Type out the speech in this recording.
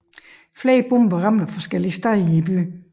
Flere bomber ramte forskellige steder i byen